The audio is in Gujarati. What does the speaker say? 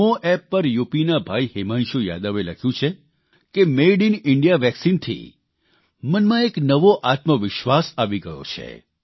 નમો એપ પર યુપીના ભાઇ હિમાંશુ યાદવે લખ્યું છે કે મેઇડ ઇન ઇન્ડિયા વેકસીનથી મનમાં એક નવો આત્મવિશ્વાસ આવી ગયો છે